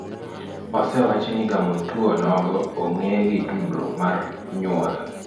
Osewachi ni gamo tuono onogo ong'e gi tudruok mar nyuol.